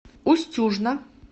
устюжна